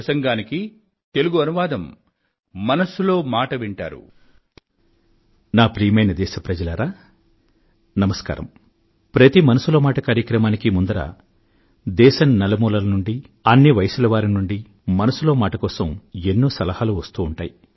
ప్రతి మనసులో మాట మన్ కీ బాత్ కార్యక్రమానికీ ముందర దేశం నలుమూలల నుండీ అన్ని వయసుల వారి నుండీ మనసులో మాట కోసం ఎన్నో సలహాలు వస్తూ ఉంటాయి